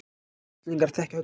Íslendingar þekkja höllina